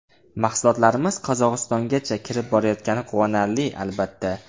Mahsulotlarimiz Qozog‘istongacha kirib borayotgani quvonarli, albatta”.